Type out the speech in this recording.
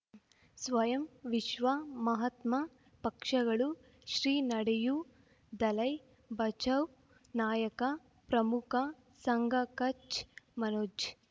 ಸ್ವಯಂ ವಿಶ್ವ ಮಹಾತ್ಮ ಪಕ್ಷಗಳು ಶ್ರೀ ನಡೆಯೂ ದಲೈ ಬಚೌ ನಾಯಕ ಪ್ರಮುಖ ಸಂಘ ಕಚ್ ಮನೋಜ್